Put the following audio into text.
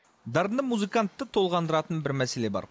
дарынды музыкантты толғандыратын бір мәселе бар